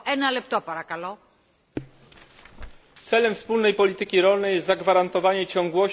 Celem wspólnej polityki rolnej jest zagwarantowanie ciągłości w dostarczaniu żywności dla mieszkańców Europy.